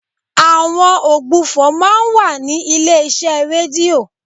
Àwọn ògbufọ̀ máa ń wà ní ilé iṣẹ́ rédíò.